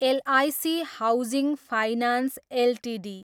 LIC housing finance Ltd